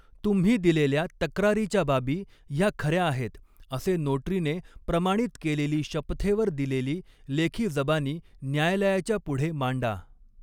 तुम्ही दिलेल्या तक्रारीच्या बाबी ह्या खऱ्या आहेत असे नोटरीने प्रमाणित केलेली शपथेवर दिलेली लेखी जबानी न्यायालयाच्या पुढे मांडा.